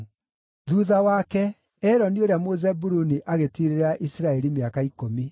Thuutha wake, Eloni ũrĩa Mũzebuluni agĩtiirĩrĩra Isiraeli mĩaka ikũmi.